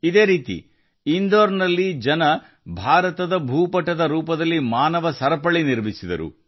ಅದೇ ರೀತಿ ಇಂದೋರ್ನ ಜನರು ಮಾನವ ಸರಪಳಿಯ ಮೂಲಕ ಭಾರತದ ನಕ್ಷೆಯನ್ನು ರಚಿಸಿದರು